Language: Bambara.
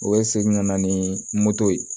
U bɛ segin ka na ni moto ye